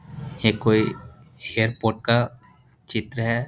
ये कोई एरपोर्ट का चित्र है।